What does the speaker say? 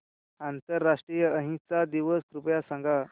आंतरराष्ट्रीय अहिंसा दिवस कृपया सांगा